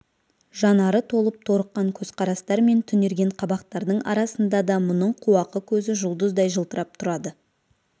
жанары талып торыққан көзқарастар мен түнерген қабақтардың арасында да мұның қуақы көзі жұлдыздай жылтырап тұрады